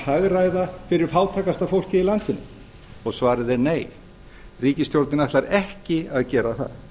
hagræða fyrir fátækasta fólkið í landinu svarið er nei ríkisstjórnin ætlar ekki að gera það